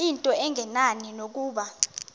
into engenani nokuba